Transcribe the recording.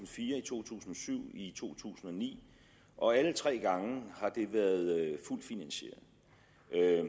fire i to tusind og syv og i to tusind og ni og alle tre gange har det været fuldt finansieret